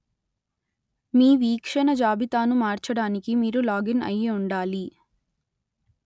మీ వీక్షణ జాబితాను మార్చడానికి మీరు లాగిన్‌ అయి ఉండాలి